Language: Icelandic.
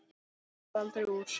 Það varð aldrei úr.